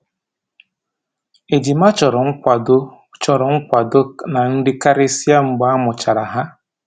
Ejima chọrọ nkwado chọrọ nkwado na nri karịsịa mgbe a mụchara ha